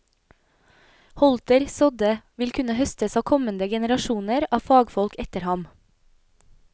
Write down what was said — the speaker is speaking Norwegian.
Holter sådde, vil kunne høstes av kommende generasjoner av fagfolk etter ham.